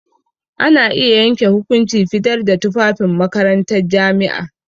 Za a iya yanke hukunci fitar da tufafin makarantar jami'a.